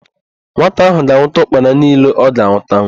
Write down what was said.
Nwata ahụ ga-anwụta ụkpana niile ọ ga-anwụtanwu.